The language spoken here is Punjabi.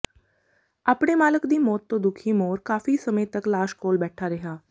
ਆਪਣੇੇ ਮਾਲਕ ਦੀ ਮੌਤ ਤੋਂ ਦੁਖੀ ਮੋਰ ਕਾਫੀ ਸਮੇ ਤੱਕ ਲਾਸ਼ ਕੋਲ ਬੈਠਾ ਰਿਹਾ